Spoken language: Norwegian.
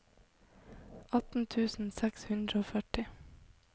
atten tusen seks hundre og førti